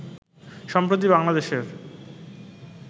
সম্প্রতি বাংলাদেশের